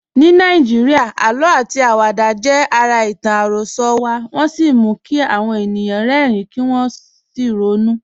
Ní Nàìjíríà, àlọ́ àti àwàdà jẹ́ ara ìtàn àròsọ wa, wọ́n sì mú kí àwọn ènìyàn rẹ́rìn-ín kí wọ́n sì ronú.